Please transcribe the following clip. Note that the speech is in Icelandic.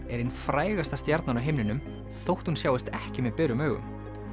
er ein frægasta stjarnan á himninum þótt hún sjáist ekki með berum augum